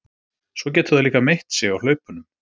Svo getur það líka meitt sig á hlaupunum.